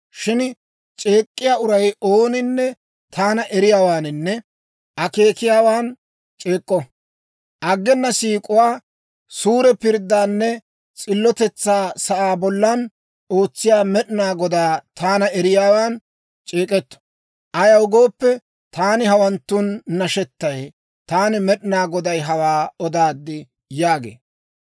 Shin c'eek'k'iyaa uray ooninne taana eriyaawaaninne akeekiyaawan c'eek'k'o. Aggena siik'uwaa, suure pirddaanne s'illotetsaa sa'aa bollan ootsiyaa Med'inaa Godaa, taana eriyaawan c'eek'k'o. Ayaw gooppe, taani hawanttun nashetay. Taani Med'inaa Goday hawaa odaad» yaagee.